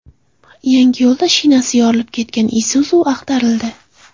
Yangiyo‘lda shinasi yorilib ketgan Isuzu ag‘darildi.